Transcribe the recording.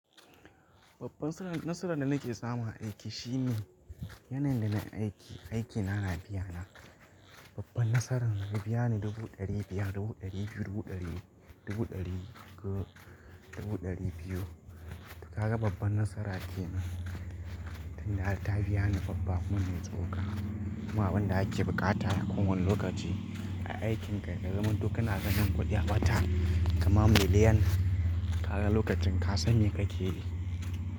Babban nasarar da nake samu a aiki shine, yanayin da na aiki, aikina na biya na. Babban nasarar ya biya ni dubu ɗari biyar, dubu ɗari biyu, dubu ɗari, dubu ɗari uku, dubu ɗari biyu. Kaga babban nasara kenan. Tunda har ta biya ni babba kuma mai tsoka. Kuma abin da ake buƙata ko wane lokaci a aikin ka, ka zamanto kana ganin kuɗi a wata, kaman miliyan. Kaga lokacin ka san me ka ke yi.